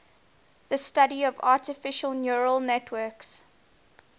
the study of artificial neural networks